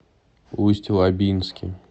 усть лабинске